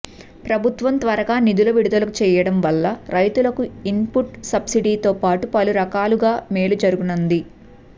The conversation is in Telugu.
ప్రభుత్వం త్వరగా నిధులు విడుదల చేయడం వల్ల రైతులకు ఇన్పుట్ సబ్సిడీతో పాటు పలు రకాలుగా మేలు జరుగనుంది